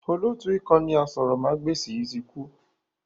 Olóótù ìkànnì aṣórómagbesìn yìí tí kú